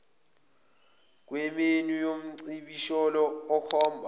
kwemenyu yomcibisholo okhomba